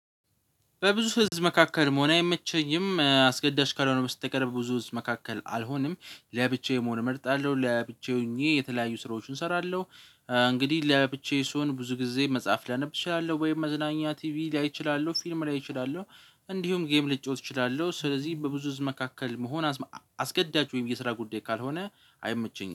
በብዙ ህዝብ መካከል መሆን አይመቸኝም አስገዳጅ ካልሆነ በስተቀር በብዙ ህዝብ መካከል አልሆንም ለብቻዬ መሆን እመርጣለሁ ለብቻዬ ሆኜ የተለያዩ ስራዎችን እሰራለሁ። እንግዲህ ለብቻዬ ስሆን ብዙ ጊዜ መጽሐፍ ላነብ እችላለሁ ወይም መዝናኛ ቲቪ ላይ እችላለሁ ፊልም ላይ እችላለሁ። እንዲሁም ጌም ልጫወት እችላለሁ። ስለዚህ በብዙ ህዝብ መካከል መሆን አስገዳጅ ወይም የስራ ጉዳይ ካልሆነ አይመቸኝም